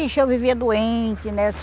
Ixi, eu vivia doente, né?